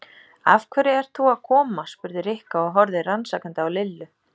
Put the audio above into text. Af hverju ert þú að koma? spurði Rikka og horfði rannsakandi á Lillu.